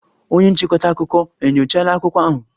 Onye nchịkọta akụkọ enyochala akwụkwọ ahụ?